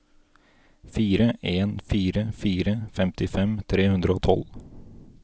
fire en fire fire femtifem tre hundre og tolv